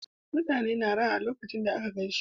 Uutane na raha a lokacon da aka gaishe su